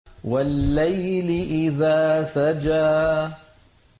وَاللَّيْلِ إِذَا سَجَىٰ